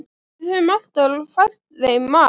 Við höfum alltaf fært þeim mat.